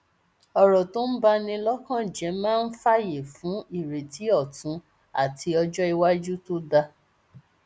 ọrọ tó bá ní lọkàn jẹ máa ń fààyè fún ìrètí ọtún àti ọjọ iwájú tó dáa